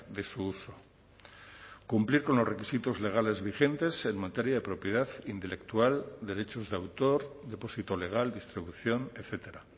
de su uso cumplir con los requisitos legales vigentes en materia de propiedad intelectual derechos de autor depósito legal distribución etcétera